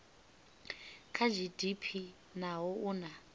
kha gdp naho u na